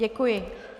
Děkuji.